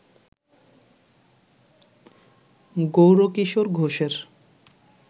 গৌরকিশোর ঘোষের